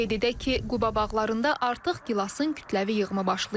Qeyd edək ki, Quba bağlarında artıq gilasın kütləvi yığımı başlayıb.